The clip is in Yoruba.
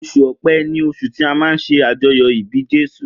Osùn ọpẹ ni osun ti a má nṣe ajoyọ ibi Jésù.